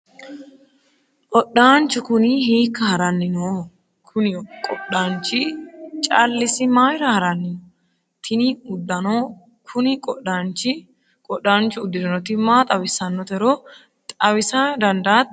odhaanchu kuni hiikka haranni nooho? kuni qodhaanchi callisi mayiira haranni no? tini uddano kuni qodhaanchu uddirinoti maa xawissannotero xawisa dandaatto?